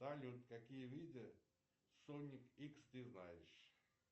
салют какие виды соник икс ты знаешь